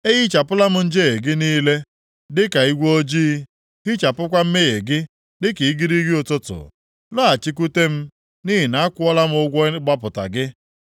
Ehichapụla m njehie gị niile; dịka igwe ojii, hichapụkwa mmehie gị dịka igirigi ụtụtụ. Lọghachikwute m, nʼihi na akwụọla m ụgwọ ịgbapụta gị.”